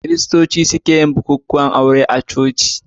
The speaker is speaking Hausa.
Kiristoci ne suke yin bukukuwan aure na coci.